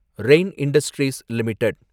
rain industries limited